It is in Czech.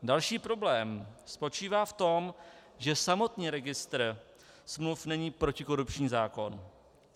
Další problém spočívá v tom, že samotný registr smluv není protikorupční zákon.